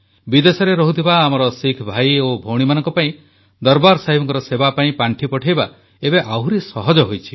ବିଦେଶରେ ରହୁଥିବା ଆମର ଶିଖ ଭାଇ ଓ ଭଉଣୀମାନଙ୍କ ପାଇଁ ଦରବାର ସାହେବଙ୍କ ସେବା ପାଇଁ ପାଣ୍ଠି ପଠାଇବା ଏବେ ଆହୁରି ସହଜ ହୋଇଛି